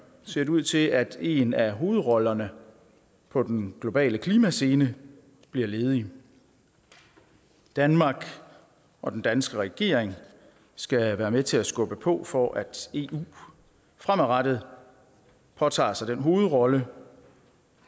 ser det ud til at en af hovedrollerne på den globale klimascene bliver ledig danmark og den danske regering skal være med til at skubbe på for at eu fremadrettet påtager sig hovedrollen